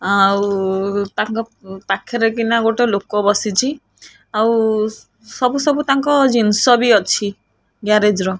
ଆଉ ତାଙ୍କ ପାଖରେ କିନା ଗୋଟେ ଲୋକ ବସିଚି ଆଉ ସବୁ ସବୁ ତାଙ୍କ ଜିନିଷ ବି ଅଛି ଗ୍ୟାରେଜ୍ ର।